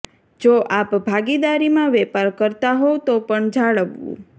જો આપ ભાગીદારીમાં વેપાર કરતા હોવ તો પણ જાળવવું